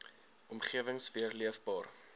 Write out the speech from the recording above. omgewings weer leefbaar